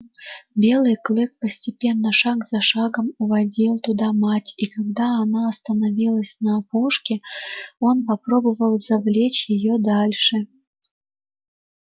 белый клык постепенно шаг за шагом уводил туда мать и когда она остановилась на опушке он попробовал завлечь её дальше